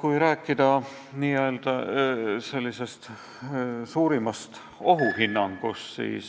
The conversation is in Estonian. Kui rääkida n-ö suurimast ohust, siis